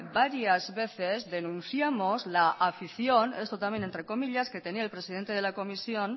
varias veces denunciamos la afición esto también entre comillas que tenía el presidente de la comisión